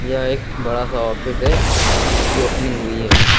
यह एक बड़ा सा ऑफिस है जिसकी ओपनिंग हुई है।